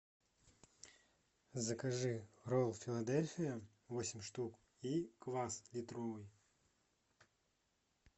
закажи роллы филадельфия восемь штук и квас литровый